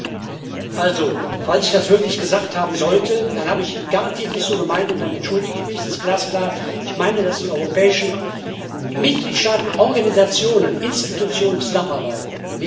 Herr Kollege, falls ich das wirklich gesagt haben sollte, dann habe ich es garantiert nicht so gemeint, und dann entschuldige ich mich. Das ist glasklar. Ich meine, dass die europäischen Mitgliedstaaten, Organisationen und Institutionen zusammenarbeiten.